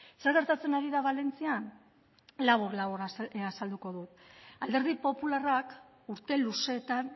zer geratzen ari da valentzian labur labur azalduko dut alderdi popularrak urte luzeetan